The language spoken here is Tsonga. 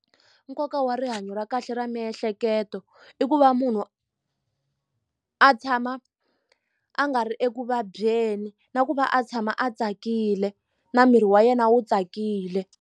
Nkoka wa rihanyo ra kahle ra miehleketo i ku va munhu a tshama a nga ri ekuvabyeni na ku va a tshama a tsakile na miri wa yena wu tsakile.